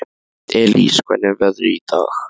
Elis, hvernig er veðrið í dag?